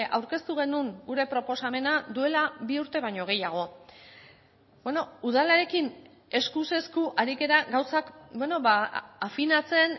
aurkeztu genuen gure proposamena duela bi urte baino gehiago udalarekin eskuz esku ari gara gauzak afinatzen